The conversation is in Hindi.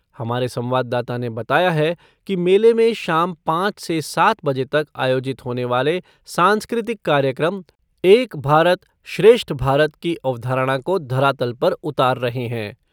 हमारे संवाददाता ने बताया है कि मेले में शाम पाँच से सात बजे तक आयोजित होने वाले सांस्कृतिक कार्यक्रम एक भारत श्रेष्ठ भारत की अवधारणा को धरातल पर उतार रहे हैं।